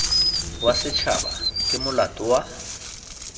wa setšhaba ke molato wa